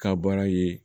Ka baara ye